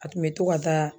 A kun bɛ to ka taa